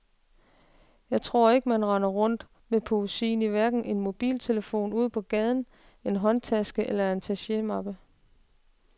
Jeg tror ikke, man render rundt med poesien i hverken en mobiltelefon ude på gaden, en håndtaske eller i en attachemappe.